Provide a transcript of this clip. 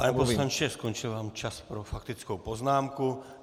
Pane poslanče, skončil vám čas pro faktickou poznámku.